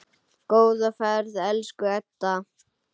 Góða ferð, elsku Edda.